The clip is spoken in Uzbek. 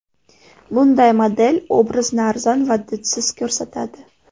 Bunday model obrazni arzon va didsiz ko‘rsatadi.